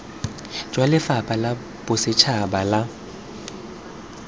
jwa lefapha la bosetšhaba la